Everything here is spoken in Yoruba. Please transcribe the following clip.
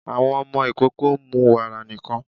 Àwọn ọmọ ikoko ń mú wàra nikan